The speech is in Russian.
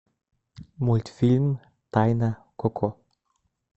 мультфильм тайна коко